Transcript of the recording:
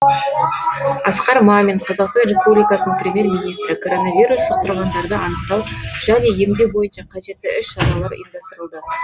асқар мамин қазақстан республикасының премьер министрі коронавирус жұқтырғандарды анықтау және емдеу бойынша қажетті іс шаралар ұйымдастырылды